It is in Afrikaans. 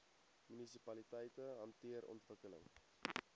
munisipaliteite hanteer ontwikkeling